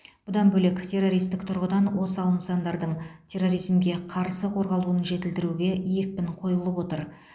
бұдан бөлек террористік тұрғыдан осал нысандардың терроризмге қарсы қорғалуын жетілдіруге екпін қойылып отыр